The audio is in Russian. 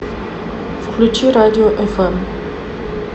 включи радио фм